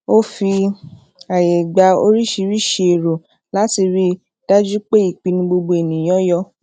o fi aaye gba orisirisi ero lati rii daju pe ipinnu gbogbo eniyanan yo